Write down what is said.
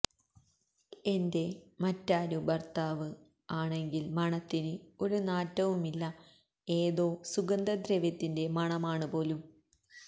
എന്റെ മറ്റാരു ഭർത്താവ് ആണങ്കിൽ മണത്തിന് ഒരു നാറ്റവും ഇല്ല ഏതോ സുഗന്ധ ദ്രവ്യത്തിന്റെ മണമാണ് പോലും